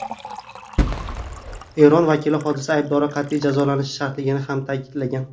Eron vakili hodisa aybdorlari qat’iy jazolanishi shartligini ham ta’kidlagan.